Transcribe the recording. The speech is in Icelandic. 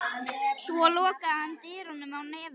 Svo lokaði hann dyrunum á nefið á þeim.